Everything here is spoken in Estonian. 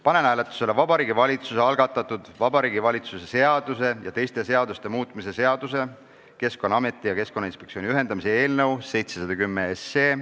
Panen hääletusele Vabariigi Valitsuse algatatud Vabariigi Valitsuse seaduse ja teiste seaduste muutmise seaduse eelnõu 710.